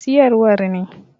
Mai siyarwar ne.